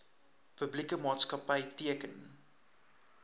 publieke maatskapy teken